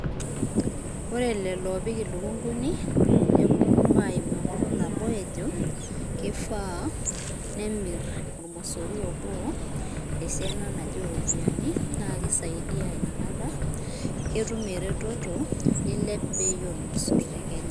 ore lelo opik ilukunguni, neponu aimu nabo ejo kifaa nemir omosori obo esiana naje oropiani, na kisaidia ina kata ketum eretoto, eilep bei omosor tekenya